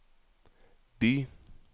by